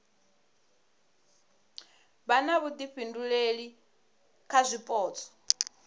vha na vhuifhinduleli kha zwipotso